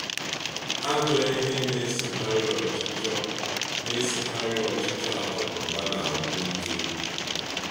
Ajọ ihe na-esokarị ọchịchọ na-esokarị ọchịchọ akụnụba na-agwụ ike.